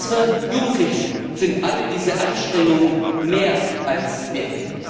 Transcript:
Unsere Jugendlichen sind alle diese Anstrengungen mehr als wert!